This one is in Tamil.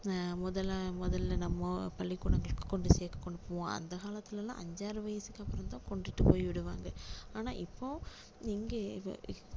ஆஹ் முதல்ல முதல்ல நம்மோ பள்ளிக்கூடங்களுக்கு கொண்டு சேக்க கொண்டு போவோம் அந்த காலத்துல எல்லாம் அஞ்சு ஆறு வயசுக்கு அப்பறம் தான் கொண்டுட்டு போய் விடுவாங்க ஆனா இப்போ இங்கே